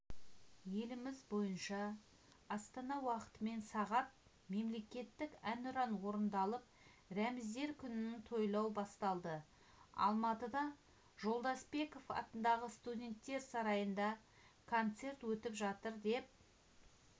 еліміз бойынша астана уақытымен сағат мемлекеттік әнұран орындалып рәміздер күнін тойлау басталды алматыда жолдасбеков атындағы студенттер сарайында концерт өтіп жатыр деп